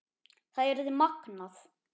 Það yrði magnað.